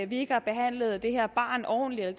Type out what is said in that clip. vi ikke har behandlet det her barn ordentligt og